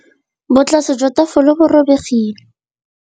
Botlasê jwa tafole bo robegile.